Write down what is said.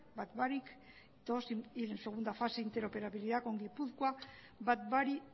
bat barik todos tienen segunda fase en interoperatividad en gipuzkoa bat barik